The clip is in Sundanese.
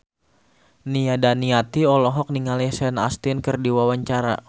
Nia Daniati olohok ningali Sean Astin keur diwawancara